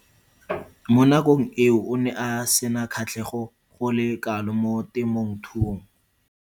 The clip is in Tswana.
Mo nakong eo o ne a sena kgatlhego go le kalo mo temothuong.